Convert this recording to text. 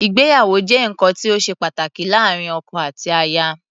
Ìgbéyàwó jẹ́ nǹkan tí ó ṣe pàtàkì láàárín ọkọ àti aya.